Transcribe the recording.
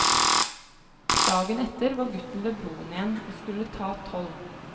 Dagen etter var gutten ved broen igjen og skulle ta toll.